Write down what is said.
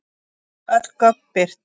Öll gögn birt